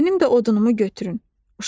Mənim də odunumu götürün.